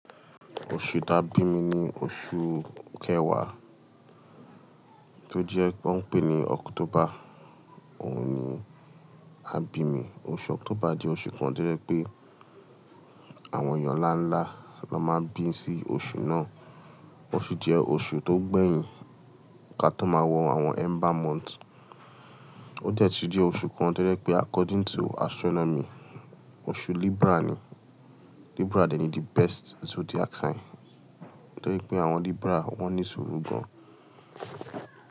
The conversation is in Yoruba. Oṣù tá bímì ni oṣù kẹwàá tó jẹ pé wón ń pè ni October. Òun ni a bí mi. Oṣù October jẹ́ oṣù kan tó jẹ́ pé àwọn èèyàn ńlá ńlá la máa ń bí sí oṣù náà. Ó sì jẹ́ oṣù tó gbẹ̀yìn ká tó máa wọ àwọn ember month. Ó dẹ̀ tún jẹ́ oṣù kan tó jẹ́ pé according to astronomy, oṣù Libra ni. Libra dé ni the best zodiac sign. Torí pé àwọn Libra wón ní sùúrù gan-an.